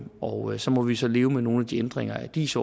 og så må vi så leve med nogle af de ændringer af dis